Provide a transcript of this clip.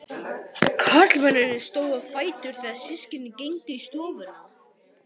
Karlmennirnir stóðu á fætur þegar systkinin gengu í stofuna.